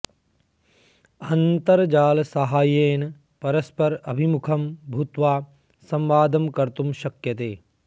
अन्तर्जाल साहाय्येन परस्पर अभिमुखं भूत्वा संवादं कर्तुं शक्यते